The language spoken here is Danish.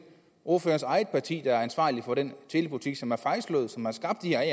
ordførerens eget parti der er ansvarlig for den telepolitik som har slået fejl og som har skabt de her